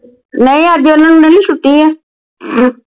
ਨਹੀਂ ਅੱਜ ਓਹਨਾ ਨੂੰ ਨਹੀਂ ਛੁੱਟੀ ਆ